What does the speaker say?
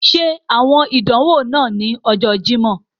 Ṣe awọn idanwo naa ni Ọjọ Jimọ.